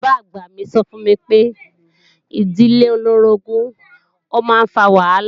Bàbá-àgbà mi sọ fún mi pé ìdílé olóorogún máa ń fa wàhálà